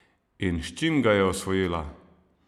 In s čim ga je osvojila?